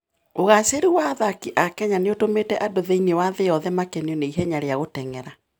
Ũgaacĩru wa athaki a Kenya nĩ ũtũmĩte andũ thĩinĩ wa thĩ yothe makenio nĩ ihenya rĩa gũteng'era.